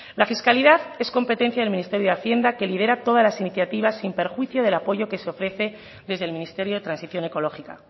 la fiscalidad es competencia del ministerio de hacienda que lidera todas las iniciativas sin perjuicio del apoyo que se ofrece desde el ministerio de transición ecológica